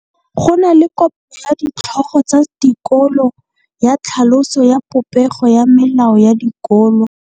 Go na le kopanô ya ditlhogo tsa dikolo ya tlhaloso ya popêgô ya melao ya dikolo.